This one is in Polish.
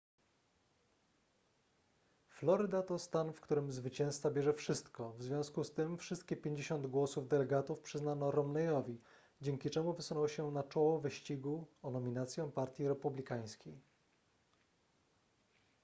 floryda to stan w którym zwycięzca bierze wszystko w związku z tym wszystkie 50 głosów delegatów przyznano romneyowi dzięki czemu wysunął się na czoło wyścigu o nominację partii republikańskiej